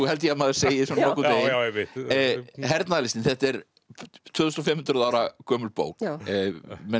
held ég að maður segi nokkurn veginn hernaðarlistin þetta er tvö þúsund og fimm hundruð ára gömul bók menn